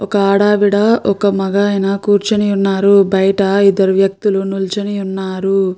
ఒక ఆడావిడ ఒక మగాయన కూర్చుని ఉన్నారు. బయట ఇద్దరు వ్యక్తులు నిల్చని ఉన్నారు.